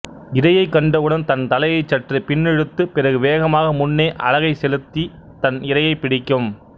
இரையைக் கண்டவுடன் தன் தலையை சற்று பின்னிழுத்து பிறகு வேகமாக முன்னே அலகைச் செலுத்தி தன் இரையைப் பிடிக்கும்